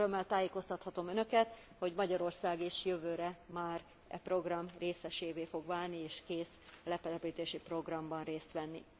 És örömmel tájékoztathatom Önöket, hogy Magyarország is jövőre már e program részesévé fog válni és kész a letelepítési programban részt venni.